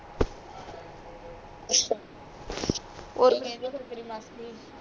ਅੱਛਾ ਔਰ ਕਿ ਕਹਿੰਦੀ ਫੇਰ ਤੇਰੀ ਮਾਸੀ